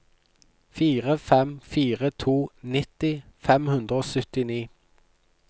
fire fem fire to nitti fem hundre og syttini